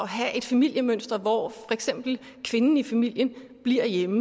have et familiemønster hvor for eksempel kvinden i familien bliver hjemme